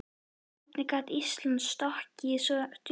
Hvernig gat Ísland sokkið svo djúpt?